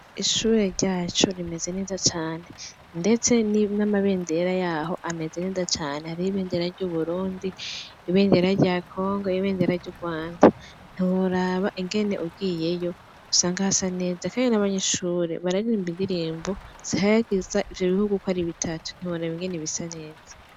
Ishure ryacu rimeze neza cane ndetse n' amabendera yaho ameze neza cane hariho ibendera ry' Uburundi ibendera rya Congo ibendera ry' Urwanda ntiworaba ingene ugiyeyo usanga hasa neza kandi n' abanyeshuri bararirimba indirimbo zihayagiza ivyo bihugu ukwo ari bitatu ntiworaba ingene bisa neza.